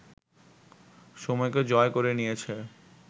সময়কে জয় করে নিয়েছে